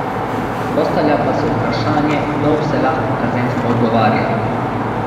Postavlja pa se vprašanje, kdo vse lahko kazensko odgovarja?